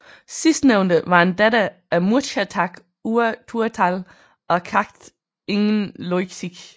Sidstnævnte var en datter af Muirchertach Ua Tuathail og Cacht ingen Loigsig